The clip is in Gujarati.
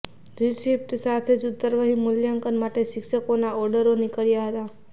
રિસિપ્ટ સાથે જ ઉત્તરવહી મૂલ્યાંકન માટે શિક્ષકોના ઓર્ડરો નિકળ્યા હતા